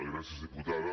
gràcies diputada